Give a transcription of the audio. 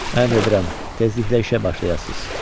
Əmr edirəm, tezliklə işə başlayasız.